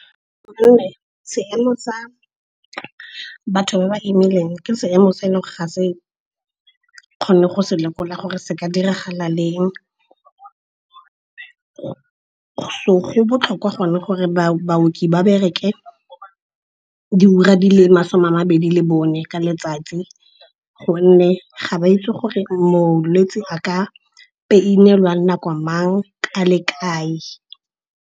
Gonne seemo sa batho ba ba imileng ke seemo se eleng ga se kgone go se lekola gore se ka diragala leng. So go botlhokwa gonne gore baoki ba bereke diura di le masome a mabedi le bone ka letsatsi. Gonne ga ba itse gore molwetse a ka pain-elwa nako mang, a le kae.